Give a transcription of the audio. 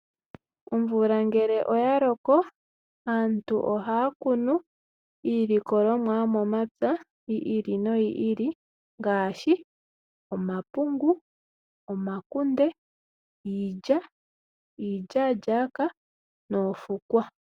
Omvula ngele oya loko, aantu ohaya kunu iilikolomwa yomomapya yi ili no yi ili ngaashi omapungu, omakunde, iilya , iilyaa lyakwa noofukwa.